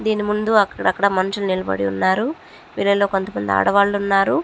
దీని ముందు అక్కడక్కడ మనుసులు నిలబడి ఉన్నారు. వీరిల్లో కొంత మంది ఆడవాళ్లు ఉన్నారు.